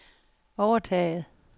overtaget